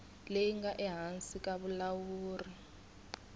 leyi nga ehansi ka vulawuri